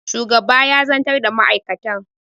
shugaba ya zantar da ma'aikatan